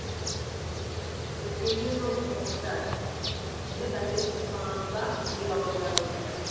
тіркеуде жоқ тұрғындар енді пәтерсіз қаламыз ба деп алаңдап отыр